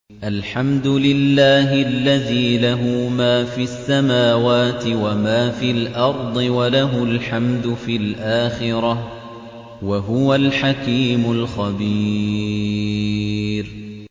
الْحَمْدُ لِلَّهِ الَّذِي لَهُ مَا فِي السَّمَاوَاتِ وَمَا فِي الْأَرْضِ وَلَهُ الْحَمْدُ فِي الْآخِرَةِ ۚ وَهُوَ الْحَكِيمُ الْخَبِيرُ